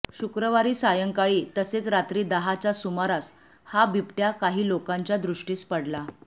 शुक्रवारी सायंकाळी तसेच रात्री दहाच्या सुमारास हा बिबट्या काही लोकांच्या दृष्टीस पडला